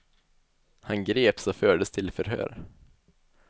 Han greps och fördes till förhör.